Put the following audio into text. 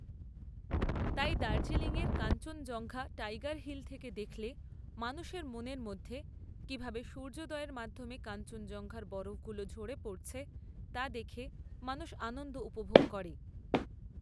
তাই দার্জিলিংয়ের Kanchenjunga Tiger Hill থেকে দেখলে মানুষের মনের মধ্যে কিভাবে সূর্যোদয়ের মাধ্যমে কাঞ্চনজঙ্ঘার বরফগুলো ঝরে পড়ছে তা দেখে মানুষ আনন্দ উপভোগ করে।